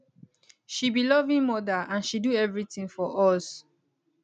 she be loving mother and she do everything for us